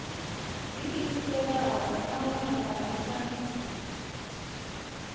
ḓiimiselaho nahone vha re na